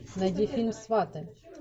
найди фильм сваты